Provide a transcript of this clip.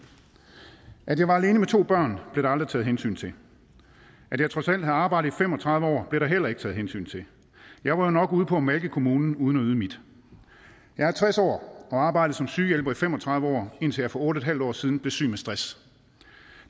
at jeg var alene med to børn blev der aldrig taget hensyn til at jeg trods alt havde arbejdet i fem og tredive år blev der heller ikke taget hensyn til jeg var jo nok ude på at malke kommunen uden at yde mit jeg er tres år og har arbejdet som sygehjælper i fem og tredive år indtil jeg for otte en halv år siden blev syg med stress